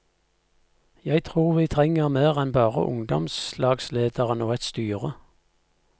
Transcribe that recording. Jeg tror vi trenger mer enn bare ungdomslagslederen og et styre.